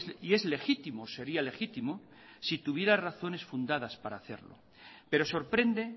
y es legítimo sería legítimo si tuviera razones fundadas para hacerlo pero sorprende